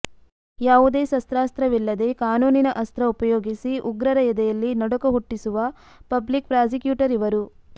ಯಾವುದೇ ಶಸ್ತ್ರಾಸ್ತ್ರವಿಲ್ಲದೇ ಕಾನೂನಿನ ಅಸ್ತ್ರ ಉಪಯೋಗಿಸಿ ಉಗ್ರರ ಎದೆಯಲ್ಲಿ ನಡುಕ ಹುಟ್ಟಿಸುವ ಪಬ್ಲಿಕ್ ಪ್ರಾಸಿಕ್ಯೂಟರ್ ಇವರು